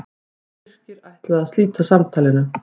Birkir ætlaði að slíta samtalinu.